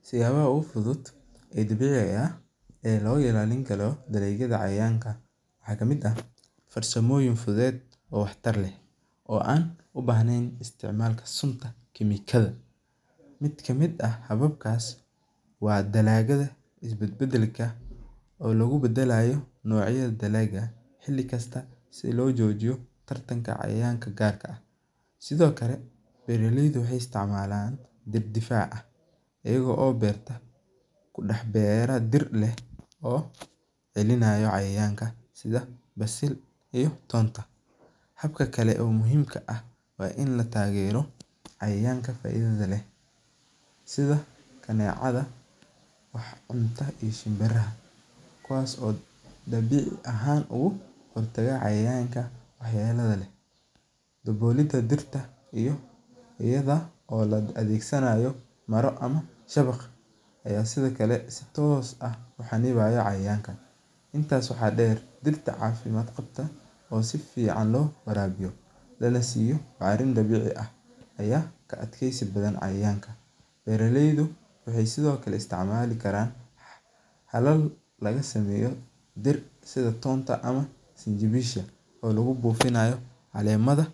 Wax yaba ogu fuduud oo dabiciga eh ee lo ilalin karo cayayanka waxaa kamiid ah farsamooyin fuduud oo wax tar leh oo an u bahnen isticmal sunta cemikada oo lagu badalayo nocyaada salagyaada si lo jojiyo tar tanka cayayanka sithokale beera leyda waxee isticmalan miid difac ah kudax beera dirta oo celinaya cayayanka sitha sil iyo tonta habka kale oo muhiimka ah wain la tagero cayayanka faidhaada leh sitha kanecaada maxee cunta iyo shinbiraha kuwas oo dabici ahan ogu daga cayayanka kale, iyadha oo la adhegsanayo mara ama shawaq aya sitha kale si tos ah u canibaya cayayanka, intas waxaa deer dirta cafimaadka qabto oo si fican lo warabiyo lanasiyo carin dabici ah aya ka adkeysi badan cayayanka, beera leydu waxee sithokale isticmali karan laga sameyo dir sitha tonta oo lagu bufinayo calemaha